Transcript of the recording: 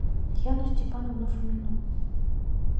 яну степановну фомину